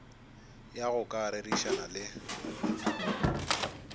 ya go ka rerišana le